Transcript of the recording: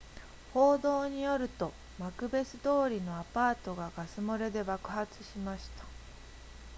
報道によるとマクベス通りのアパートがガス漏れで爆発しました